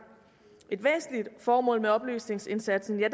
et væsentligt formål med oplysningsindsatsen er